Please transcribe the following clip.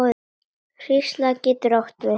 Hrísla getur átt við